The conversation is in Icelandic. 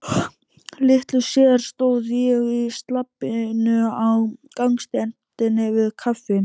Litlu síðar stóð ég í slabbinu á gangstéttinni við Kaffi